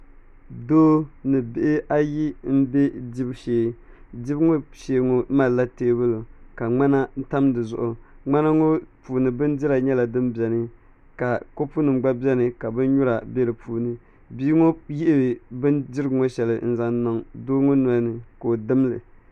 Doo ni bihi ayi n bɛ dibu shee dibu ŋo shee ŋo malila teebuli ka ŋmana tam dizuɣu ŋmana ŋo puuni bindira nyɛla din biɛni ka kopu nim gba biɛni ka binnyura bɛ di puuni bia ŋo yihi bindirigu ŋo shɛli n zaŋ n niŋ doo ŋo nolini ka o dimli